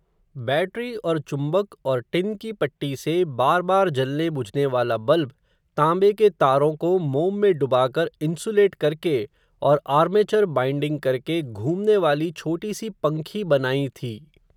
battery और चुंबक और टिन की पट्टी से, बार बार जलने बुझने वाला बल्ब, तांबे के तारों को, मोम में डुबाकर, इंसुलेट करके, और आर्मेचर बाइंडिंग करके, घूमने वाली छोटी सी पंखी बनायीं थी